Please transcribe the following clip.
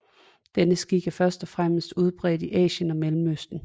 Denne skik er først og fremmest udbredt i Asien og Mellemøsten